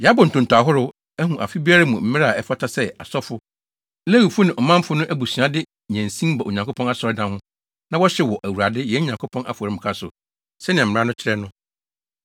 “Yɛabɔ ntonto ahorow, ahu afe biara mu mmere a ɛfata sɛ asɔfo, Lewifo ne ɔmanfo no abusuafo de nnyansin ba Onyankopɔn asɔredan ho na wɔhyew wɔ Awurade, yɛn Nyankopɔn afɔremuka so, sɛnea mmara no kyerɛ no.